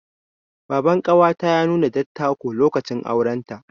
Baban ƙawata ya nuna dattako, lokacin auren ta.